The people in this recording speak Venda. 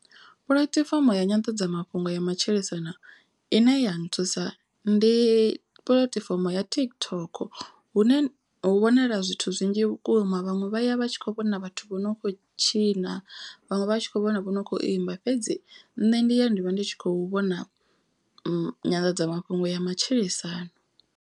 Puḽatifomo ya nyanḓadzamafhungo ya matshilisano ine ya nthusa. Ndi puḽatifomo ya TikTok hune hu wanala zwithu zwinzhi vhukuma. Vhaṅwe vha ya vha tshi kho vhona vhathu vho no kho tshina vhaṅwe vha vha tshi kho vhona vho no kho imba. Fhedzi nṋe ndi ya ndi vha ndi tshi khou vhona nyanḓadzamafhungo ya matshilisano.